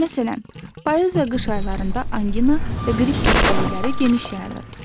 Məsələn, payız və qış aylarında angina və qrip xəstəlikləri geniş yayılır.